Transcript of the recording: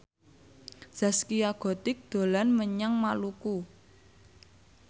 Zaskia Gotik dolan menyang Maluku